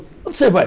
Onde você vai?